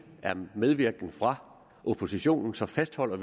der er medvirken fra oppositionen så fastholder